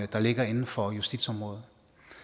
der ligger inden for justitsområdet